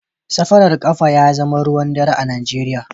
Safarar kafa ya zama ruwan dare a Najeriya